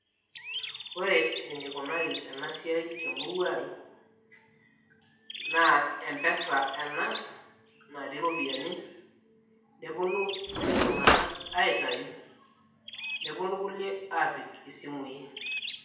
ore enikunari ena siai temurua ai naa mpesa ena natii iropiyiani neponu kulie tung'anak aitayu neponu kulie aapik isimui.